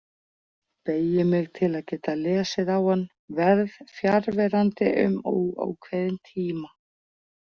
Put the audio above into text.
Beygi mig til að geta lesið á hann: Verð fjarverandi um óákveðinn tíma.